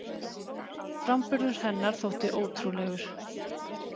Framburður hennar þótti ótrúlegur